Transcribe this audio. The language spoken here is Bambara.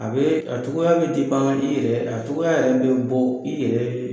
A bɛ a cogoya bɛ tɛ ban i yɛrɛ a cogoya yɛrɛ bɛ bɔ i yɛrɛ .